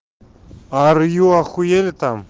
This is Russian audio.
арье ахуели там